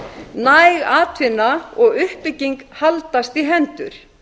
næg atvinna og uppbygging haldast í hendur